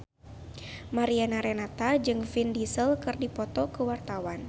Mariana Renata jeung Vin Diesel keur dipoto ku wartawan